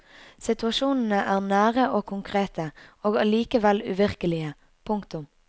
Situasjonene er nære og konkrete og allikevel uvirkelige. punktum